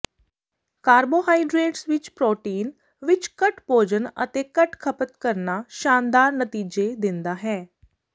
carbohydrates ਵਿੱਚ protein ਵਿੱਚ ਘੱਟ ਭੋਜਨ ਅਤੇ ਘੱਟ ਖਪਤ ਕਰਨਾ ਸ਼ਾਨਦਾਰ ਨਤੀਜੇ ਦਿੰਦਾ ਹੈ